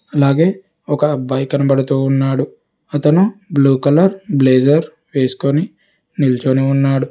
అలాగే ఒక అబ్బాయి కనబడుతూ ఉన్నాడు అతను బ్లూ కలర్ బ్లేజర్ వేసుకొని నిల్చొని ఉన్నాడు.